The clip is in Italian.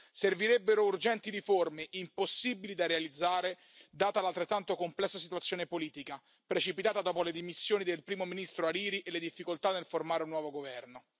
Servirebbero urgenti riforme, impossibili da realizzare data l'altrettanto complessa situazione politica, precipitata dopo le dimissioni del Primo ministro Ḥarīrī e le difficoltà nel formare un nuovo governo.